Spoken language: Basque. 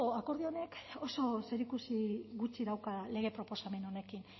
akordio honek oso zerikusi gutxi dauka lege proposamen honekin